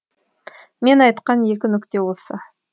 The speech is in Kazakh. мен айтқан екі нүкте осы